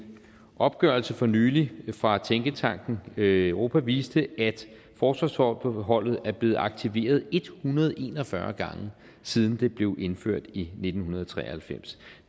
opgørelse for nylig fra tænketanken europa viste at forsvarsforbeholdet er blevet aktiveret en hundrede og en og fyrre gange siden det blev indført i nitten tre og halvfems